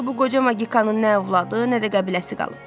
Axı bu qoca magikanın nə övladı, nə də qəbiləsi qalıb.